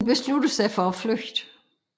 Hun beslutter sig for at flygte